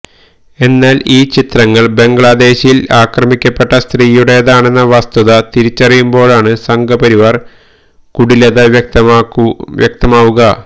എന്നാൽ ഈ ചിത്രങ്ങൾ ബംഗ്ലാദേശിൽ അക്രമിക്കപ്പെട്ട സ്ത്രീയുടേതാണെന്ന വസ്തുത തിരിച്ചറിയുമ്പോഴാണ് സംഘപരിവാർ കുടിലത വ്യക്തമാവുക